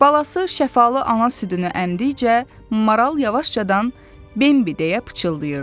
Balası şəfalı ana südünü əmdikcə maral yavaşcadan Bembi deyə pıçıldayırdı.